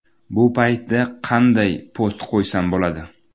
Bu paytda qayday post qo‘ysam bo‘ladi?